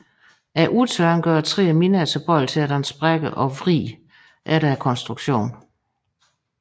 Udtørringen gør træet mindre tilbøjeligt til at danne sprækker og vrid efter konstruktion